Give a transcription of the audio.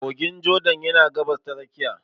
Kogin Jordan yana Gabas ta Tsakiya.